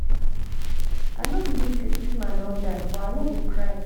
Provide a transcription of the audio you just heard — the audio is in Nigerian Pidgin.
i no believe say dis man don die but i no go cry